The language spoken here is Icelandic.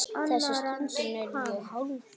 Þessa stundina er ég hálftómur.